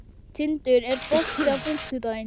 Tindur, er bolti á fimmtudaginn?